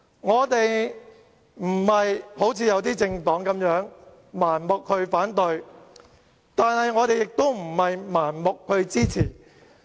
我們並不像有些政黨般盲目反對，但我們也不是盲目支持。